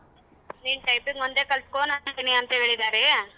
ನೀನ್ typing ಒಂದೇ ಕಲತಕೋ ನಾನ್ ತಗೋತೀನಿ ಅಂತ ಹೇಳಿದಾರೆ.